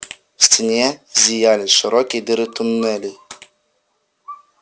в стене зияли широкие дыры туннелей